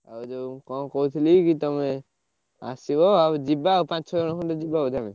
ଆଉ ଯୋଉ କଣ କହୁଥିଲି କି ତମେ ଆସିବ ଆଉ ଯିବା ପାଞ୍ଚ ଛଅ ଜଣ ଯିବା ଆଉ।